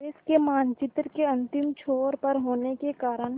देश के मानचित्र के अंतिम छोर पर होने के कारण